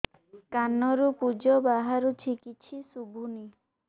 କାନରୁ ପୂଜ ବାହାରୁଛି କିଛି ଶୁଭୁନି